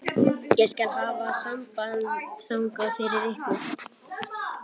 Ég skal hafa samband þangað fyrir ykkur.